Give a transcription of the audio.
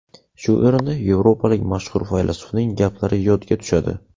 Shu o‘rinda yevropalik mashhur faylasufning gaplari yodga tushadi.